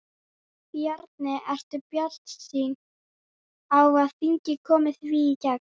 Bjarni, ertu bjartsýnn á að þingið komi því í gegn?